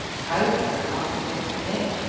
Hægðirnar, manstu ekkert eftir þeim?